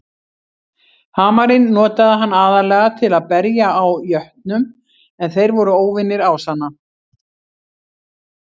Hamarinn notaði hann aðallega til að berja á jötnum en þeir voru óvinir ásanna.